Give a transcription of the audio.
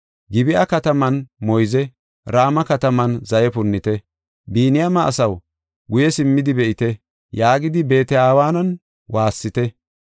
Gib7a kataman moyze, Rama kataman zaye punnite. Biniyaame asaw, ‘Guye simmidi be7ite’ yaagidi Beet-Aweenan waassite.